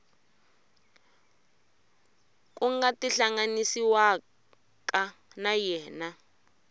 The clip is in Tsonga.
ku nga tihlanganisiwaka na yena